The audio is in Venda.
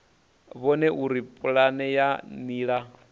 vhone uri pulane ya nila